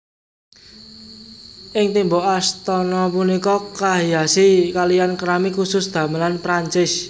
Ing tembok astana punika kahiasi kaliyan keramik khusus damelan Perancis